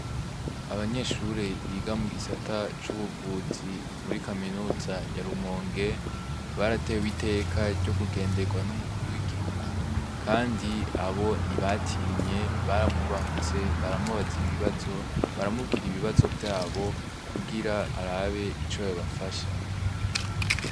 Abanyeshure biga mw'isata c'ubuvuzi muri kaminuza ya rumonge baratewe iteka ryo kugenderwa n'umukuru w'igihugu, kandi abo ntibatinye baramwubahutse baramubaza ibibazo baramubwira ibibazo vyabo kugira arabe ico babafasha a.